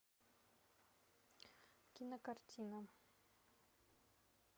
кинокартина